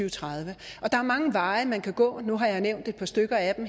og tredive der er mange veje man kan gå nu har jeg nævnt et par stykker af dem